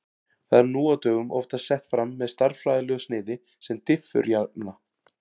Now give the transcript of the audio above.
Það er nú á dögum oftast sett fram með stærðfræðilegu sniði sem diffurjafna.